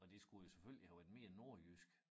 Og det skulle jo selvfølgelig have været mere nordjysk